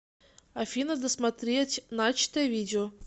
афина досмотреть начатое видео